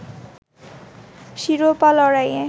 শিরোপা লড়াইয়ে